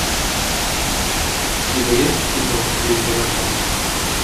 у тебя есть кино день дурака